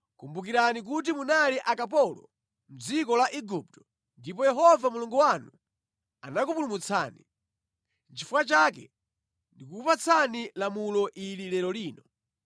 Kumbukirani kuti munali akapolo mʼdziko la Igupto ndipo Yehova Mulungu wanu anakupulumutsani. Nʼchifukwa chake ndikukupatsani lamulo ili lero lino.